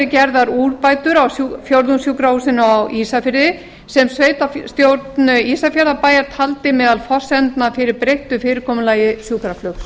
gerðar þær úrbætur á fjórðungssjúkrahúsinu á ísafirði sem sveitarstjórn ísafjarðarbæjar taldi meðal forsendna fyrir breyttu fyrirkomulagi sjúkraflugs